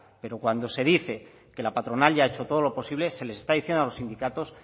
pero cuando se dice que patronal ya ha hecho todo lo posible se les está diciendo a los sindicatos